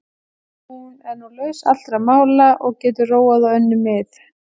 Hún er nú laus allra mála og getur róað á önnur mið.